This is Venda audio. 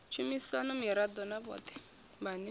tshumisano miraḓo na vhoṱhe vhane